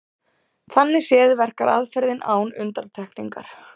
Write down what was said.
Þannig séð verkar aðferðin án undantekningar.